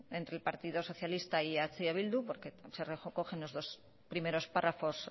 entre el partido socialista y eh bildu porque se recogen los dos primeros párrafos